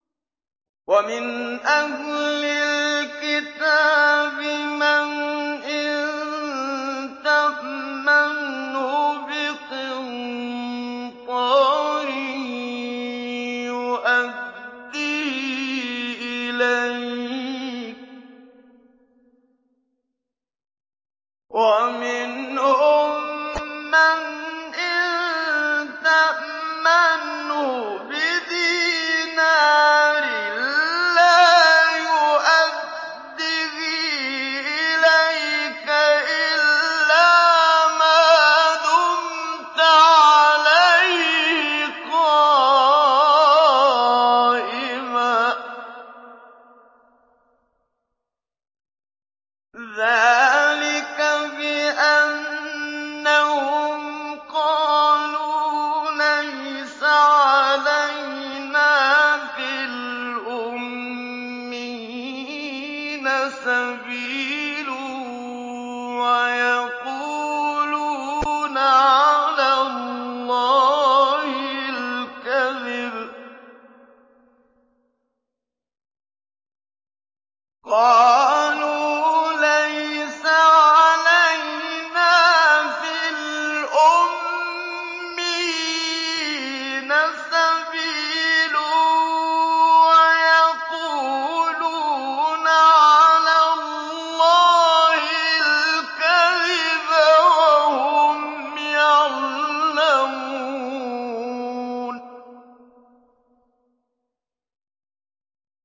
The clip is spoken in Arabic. ۞ وَمِنْ أَهْلِ الْكِتَابِ مَنْ إِن تَأْمَنْهُ بِقِنطَارٍ يُؤَدِّهِ إِلَيْكَ وَمِنْهُم مَّنْ إِن تَأْمَنْهُ بِدِينَارٍ لَّا يُؤَدِّهِ إِلَيْكَ إِلَّا مَا دُمْتَ عَلَيْهِ قَائِمًا ۗ ذَٰلِكَ بِأَنَّهُمْ قَالُوا لَيْسَ عَلَيْنَا فِي الْأُمِّيِّينَ سَبِيلٌ وَيَقُولُونَ عَلَى اللَّهِ الْكَذِبَ وَهُمْ يَعْلَمُونَ